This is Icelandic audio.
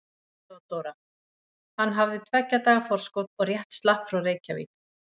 THEODÓRA: Hann hafði tveggja daga forskot og rétt slapp frá Reykjavík.